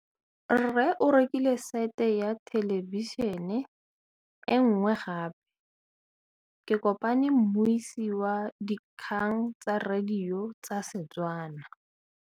Rre o rekile sete ya thêlêbišênê e nngwe gape. Ke kopane mmuisi w dikgang tsa radio tsa Setswana.